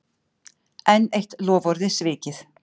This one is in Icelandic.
Enn eitt loforðið svikið